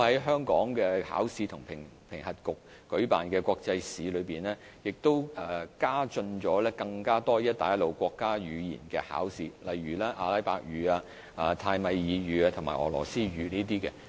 香港考試及評核局亦在舉辦的國際試中，引入更多"一帶一路"國家語言的考試，例如阿拉伯語、泰米爾語及俄羅斯語等。